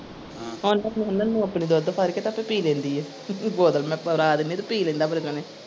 ਹੁਣ ਦੁੱਧ ਫੱੜ ਕੇ ਤੇ ਆਪੇ ਪੀ ਲੈਂਦੀ ਆ ਬੋਤਲ ਮੈਂ ਫੜਾ ਦਿੰਨੀ ਤੇ ਪੀ ਲੈਂਦਾ।